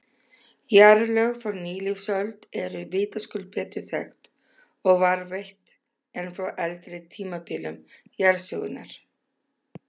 Jarðlög frá nýlífsöld eru vitaskuld betur þekkt og varðveitt en frá eldri tímabilum jarðsögunnar.